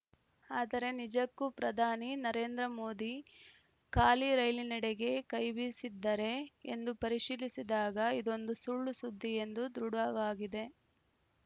ಆದರೆ ನಿಜಕ್ಕೂ ಪ್ರಧಾನಿ ನರೇಂದ್ರ ಮೋದಿ ಖಾಲಿ ರೈಲಿನೆಡೆಗೆ ಕೈಬೀಸಿದ್ದರೇ ಎಂದು ಪರಿಶೀಲಿಸಿದಾಗ ಇದೊಂದು ಸುಳ್ಳುಸುದ್ದಿ ಎಂಬುದು ದೃಡಾವಾಗಿದೆ